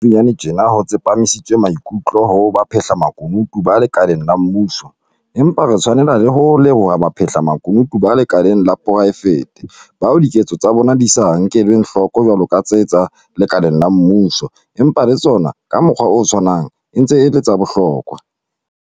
Leha tjena ho tsepamisitswe maikutlo ho baphehlamakunutu ba lekaleng la mmuso, empa re tshwanela le ho leboha baphahlamakunutu ba lekaleng la poraefete, bao diketso tsa bona di sa nkelweng hloko jwalo ka tsa tse lekaleng la mmuso, empa le tsona, ka mokgwa o tshwanang, e ntse e le tsa bohlokwa.